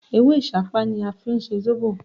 Ewé Ìsápá ni a fí n se Zóbò